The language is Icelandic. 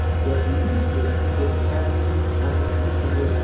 Jafnvel Ísbjörg getur svarað því án þess að hugsa sig um.